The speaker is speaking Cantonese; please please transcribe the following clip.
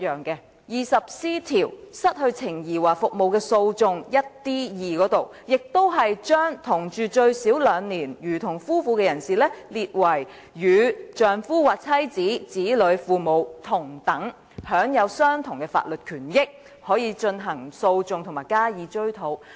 第 20C 條"失去情誼或服務的訴訟"下的第 1d 款亦把同住最少兩年，如同夫妻的人士列為與丈夫或妻子、子女、父母同等，並享有相同的法律權益，可以進行訴訟及追討賠償。